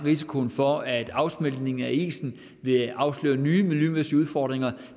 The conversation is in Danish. risikoen for at afsmeltningen af isen vil afsløre nye miljømæssige udfordringer